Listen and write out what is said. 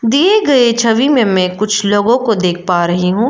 दिए गए छवि में मै कुछ लोगों को देख पा रही हूं।